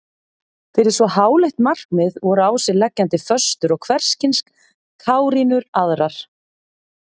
Fyrir svo háleitt markmið voru á sig leggjandi föstur og hverskyns kárínur aðrar.